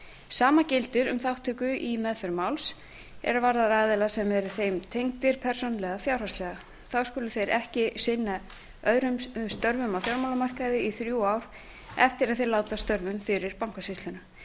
sama gildir um þátttöku í meðferð máls er varðar aðila sem eru þeim tengdir persónulega eða fjárhagslega þá skulu þeir ekki sinna öðrum störfum á fjármálamarkaði í þrjú ár eftir að þeir láta af störfum fyrir bankasýsluna